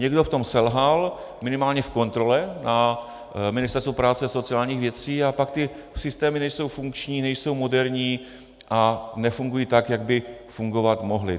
Někdo v tom selhal, minimálně v kontrole, na Ministerstvu práce a sociálních věcí, a pak ty systémy nejsou funkční, nejsou moderní a nefungují tak, jak by fungovat mohly.